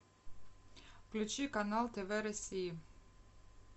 включи канал тв россии